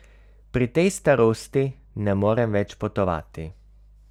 Pri tej starosti ne morem več potovati.